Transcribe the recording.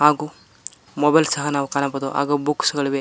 ಹಾಗೂ ಮೊಬೈಲ್ ಸಹ ನಾವು ಕಾಣಬಹುದು ಹಾಗೂ ಬುಕ್ಸ್ ಗಳಿವೆ.